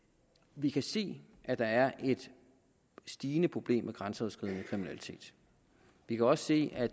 vi kan se at der er et stigende problem med grænseoverskridende kriminalitet vi kan også se at